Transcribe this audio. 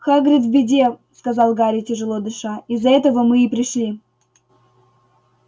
хагрид в беде сказал гарри тяжело дыша из-за этого мы и пришли